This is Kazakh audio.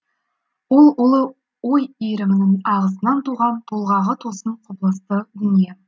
ол ұлы ой иірімнің ағысынан туған толғағы тосын құбылысты дүние